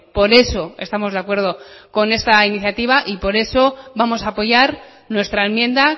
por eso estamos de acuerdo con esta iniciativa y por eso vamos a apoyar nuestra enmienda